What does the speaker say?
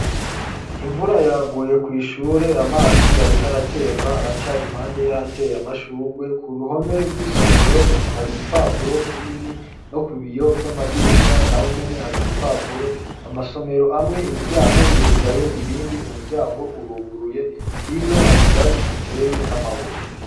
Imvura yaguye kw'ishure, amazi ariko aratemba aca impande y'ahateye amashurwe, ku ruhome rw'isomero hari igipapuro kinini no ku biyo vy'amadirisha na ho nyene hari ibipapuro amasomero amwe imiryango irugaye irindi umuryango uruguruye hino hari vyatsi biteye n'amabuye.